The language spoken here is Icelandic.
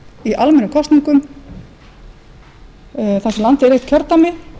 í almennum kosningum þar sem landið er eitt kjördæmi